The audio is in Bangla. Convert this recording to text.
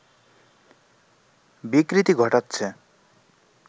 বিকৃতি ঘটাচ্ছে